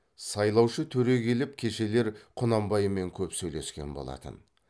сайлаушы төре келіп кешелер құнанбаймен көп сөйлескен болатын